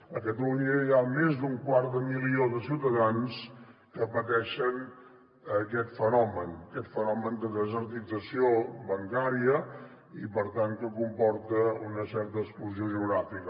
a catalunya hi ha més d’un quart de milió de ciutadans que pateixen aquest fenomen aquest fenomen de desertització bancària i per tant que comporta una certa exclusió geogràfica